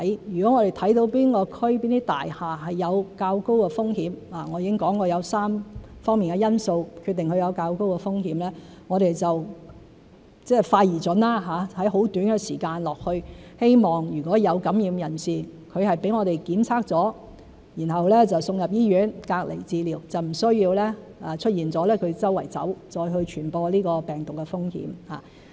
如果我們看到哪一區、哪一座大廈有較高風險——我已經說過有3方面的因素決定它有較高的風險——我們就會快而準地在很短的時間去到該處，希望如果有感染人士，他被我們檢測後送到醫院隔離治療，就不會出現他到處走、再傳播病毒的風險。